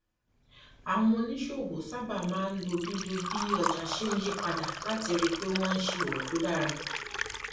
àwọn oníṣòwò sábà máa ń lo bí lo bí ọjà ṣe ń yí padà láti rí i pé àwọn ń ṣe òwò tó dára